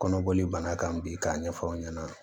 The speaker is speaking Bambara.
Kɔnɔboli banna kan bi k'a ɲɛfɔ aw ɲɛna